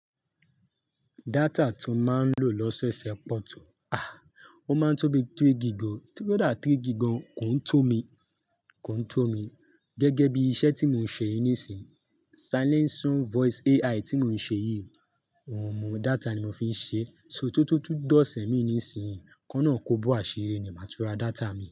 Data tò má ń lò lọ́sẹ̀ sẹ pọ̀tò, àá, ò má ń tó bí three gig o, kódà three gig gan kò ń tó mi, kò ń tó mi gẹ́gẹ́ bí iṣẹ́ tí mò ń sè yì nísin. Selling some voice AI tí mò ń ṣe yì, ọmọ data ni mò fi ń sè, so tó tótó dọ̀sẹ̀ mi nísinyì, kọ́lọ́un kò bó àsíri ni màtú rà data mi.